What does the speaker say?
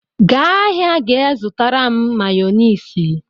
Gaa ahịa ga-zụtara m Mayọnesị!